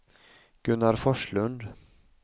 Gunnar Forslund